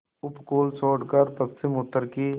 उपकूल छोड़कर पश्चिमउत्तर की